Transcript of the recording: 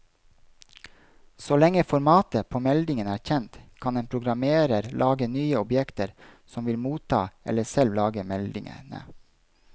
Så lenge formatet på meldingen er kjent, kan en programmerer lage nye objekter som vil motta eller selv lage meldingene.